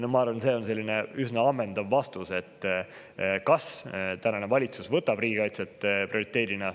Ma arvan, et see on üsna ammendav vastus sellele, kas tänane valitsus võtab riigikaitset prioriteedina.